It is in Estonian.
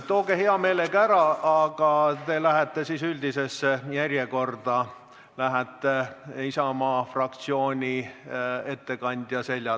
Tooge hea meelega ära, aga te lähete üldisesse järjekorda, Isamaa fraktsiooni ettekandja järele.